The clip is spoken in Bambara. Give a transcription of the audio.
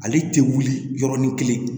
Ale tɛ wuli yɔrɔnin kelen